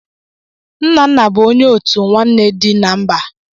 Nnanna bu onye otu nwanne di na mba.